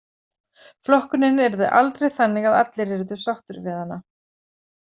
Flokkunin yrði aldrei þannig að allir yrðu sáttir við hana.